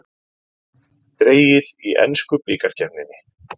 Dregið í ensku bikarkeppninni